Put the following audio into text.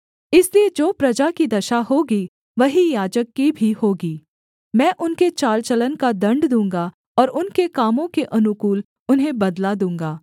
इसलिए जो प्रजा की दशा होगी वही याजक की भी होगी मैं उनके चाल चलन का दण्ड दूँगा और उनके कामों के अनुकूल उन्हें बदला दूँगा